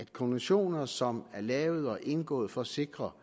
konventioner som er lavet og indgået for at sikre